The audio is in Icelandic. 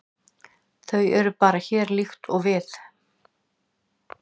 Þau eru bara hér, líkt og við.